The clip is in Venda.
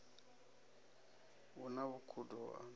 hu na vhukhudo ho anwa